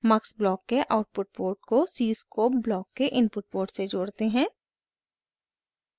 mux block के output port को cscope block के इनपुट पोर्ट से जोड़ते हैं